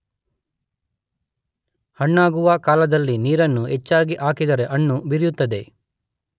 ಹಣ್ಣಾಗುವ ಕಾಲದಲ್ಲಿ ನೀರನ್ನು ಹೆಚ್ಚಾಗಿ ಹಾಕಿದರೆ ಹಣ್ಣು ಬಿರಿಯುತ್ತದೆ.